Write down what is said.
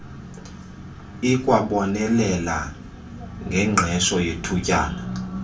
ikwabonelela ngengqesho yethutyana